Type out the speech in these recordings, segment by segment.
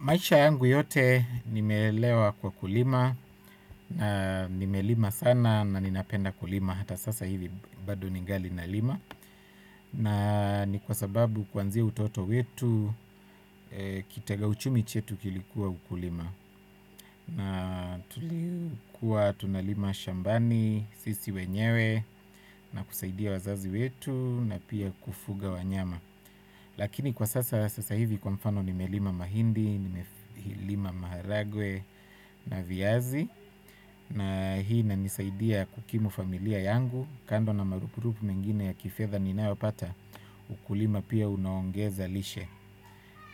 Maisha yangu yote nimelelewa kwa kulima na nimelima sana na ninapenda kulima hata sasa hivi bado ningali nalima na ni kwa sababu kwanzia utoto wetu kitega uchumi chetu kilikuwa ukulima na tulikuwa tunalima shambani sisi wenyewe na kusaidia wazazi wetu na pia kufuga wanyama. Lakini kwa sasa sasa hivi kwa mfano nimelima mahindi, nimelima maharagwe na viazi na hii inanisaidia kukimu familia yangu kando na marupurupu mengine ya kifedha ninayopata ukulima pia unaongeza lishe.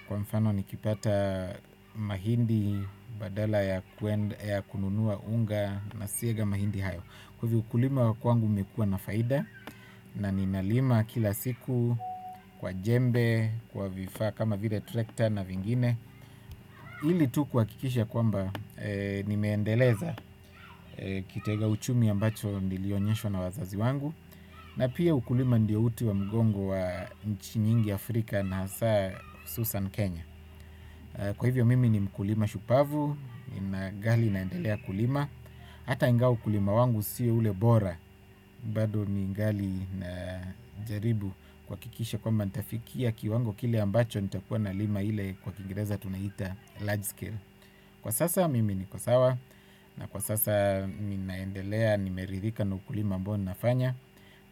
Kwa mfano nikipata mahindi badala ya kununua unga na siaga mahindi hayo. Kwa hivyo ukulima wa kwangu umekuwa na faida na ninalima kila siku kwa jembe, kwa vifaa kama vile tractor na vingine. Ili tu kuhakikisha kwamba nimeendeleza kitega uchumi ambacho nilionyeshwa na wazazi wangu. Na pia ukulima ndiyo uti wa mgongo wa nchi nyingi Afrika na hasaa hususan Kenya. Kwa hivyo mimi ni mkulima shupavu, ninagali naendelea kulima. Hata ingawa ukulima wangu siyo ule bora bado ningali na jaribu kuhakikisha kwamba nitafikia kiwango kile ambacho nitakuwa nalima ile kwa kiingereza tunaita large scale. Kwa sasa mimi niko sawa. Na kwa sasa ninaendelea nimeridhika na ukulima ambao ninafanya.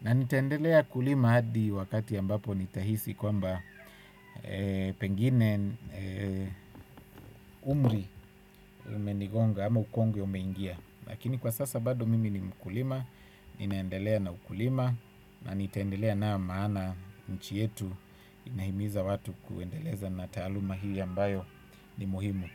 Na nitaendelea kulima hadi wakati ambapo nitahisi kwamba pengine umri umenigonga ama ukongwe umeingia. Lakini kwa sasa bado mimi ni mkulima. Ninaendelea na ukulima. Na nitaendelea naam maana chchi yetu inahimiza watu kuendeleza na taaluma hii ambayo ni muhimu.